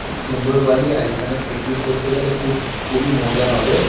খুব সুন্দর বাড়ি আর এখানে পিকনিক করতে গেলে খুব খুবই মজা হবে।